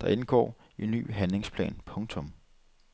der indgår i ny handlingsplan. punktum